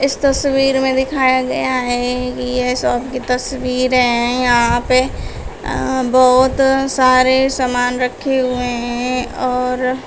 इस तस्वीर में दिखाया गया है कि यह शॉप की तस्वीर है यहां पे अह बहुत सारे सामान रखे हुए हैं और--